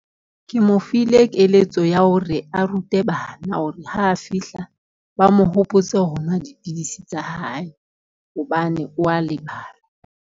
Ke mo file keletso ya hore a rute bana hore ha a fihla ba mo hopotse ho nwa dipidisi tsa hae hobane o a lebala.